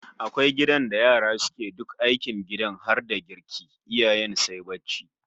Akwai gidan da yara suke duk aikin gidan har da girki, iyayen sai barci